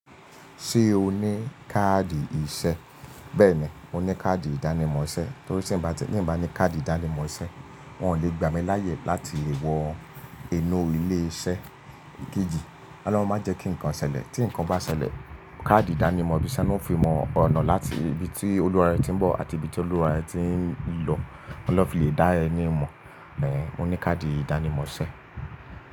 Ṣé o ní káàdì ìṣe? Bẹ́ẹ̀ni, mo ní káàdì ìdánimọ̀ iṣẹ́ torí t'eeyan o bá ní káàdì ìdánimọ̀ iṣẹ́, wọn ò lè gbà mí láyè láti wọ inú ilé iṣẹ́ ikeji. Olohun máa jẹ́ kí nǹkan ṣẹlẹ̀, tí nǹkan bá ṣẹlẹ̀, káàdì ìdánimọ̀ ibí se na fi mọ ọ̀nà láti ibi tí olùwàrẹ́ tí ń bọ̀ àti ibi tí olùwàrẹ́ ti ń lọ. Oun lọ fi le dá ẹní mọ̀. Ẹ̀hẹ̀n, mo ní káàdì ìdánimọ̀ iṣẹ́.